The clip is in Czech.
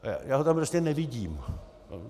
Já ho tam prostě nevidím.